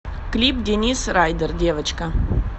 клип денис райдер девочка